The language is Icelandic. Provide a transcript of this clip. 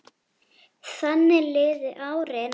Þannig liðu árin.